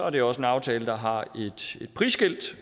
det også en aftale der har et prisskilt